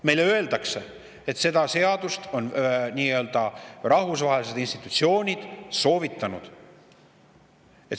Meile öeldakse, et seda seadust on nii-öelda rahvusvahelised institutsioonid soovitanud.